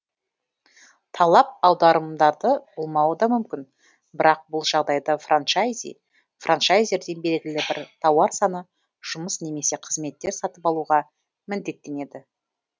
талап аударымдарды болмауы да мүмкін бірақ бұл жағдайда франчайзи франчайзерден белгілі бір тауар саны жұмыс немесе қызметтер сатып алуға міндеттенеді